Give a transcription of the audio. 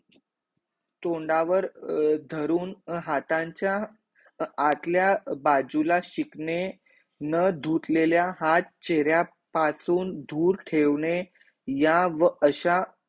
तोंडावर धरून हातांचा अं आतल्या बाजूला शिकणे, न धुतलेल्या हाथ चेहर्या पासून दूर ठेवणे या व अशा